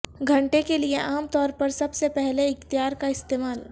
گھنٹے کے لئے عام طور پر سب سے پہلے اختیار کا استعمال